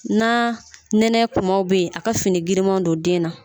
Na nɛnɛ tuma bɛ yen a ka fini giriman don den na.